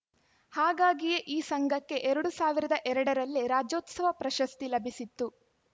ಹಾಗಾಗಿಯೇ ಈ ಸಂಘಕ್ಕೆ ಎರಡ್ ಸಾವಿರದ ಎರಡರಲ್ಲೇ ರಾಜ್ಯೋತ್ಸವ ಪ್ರಶಸ್ತಿ ಲಭಿಸಿತ್ತು